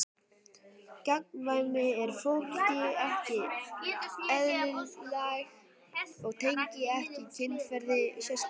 Gagnkvæmni er fólki ekki eðlislæg og tengist ekki kynferði sérstaklega.